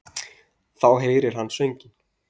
Þá heyrði hann sönginn.